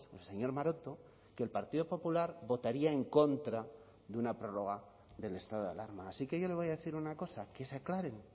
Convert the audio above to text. el señor maroto que el partido popular votaría en contra de una prórroga del estado de alarma así que yo le voy a decir una cosa que se aclaren